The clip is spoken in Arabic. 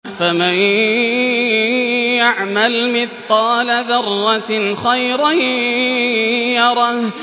فَمَن يَعْمَلْ مِثْقَالَ ذَرَّةٍ خَيْرًا يَرَهُ